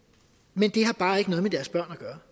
men det har bare ikke noget med deres børn at gøre